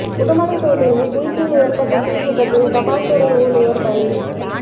உடுமலைப்பேட்டையில் வீட்டில் ஏற்பட்ட தீ விபத்தில் தபால் துறை ஊழியர் பலி